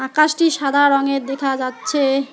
আকাশটি সাদা রঙের দেখা যাচ্ছে।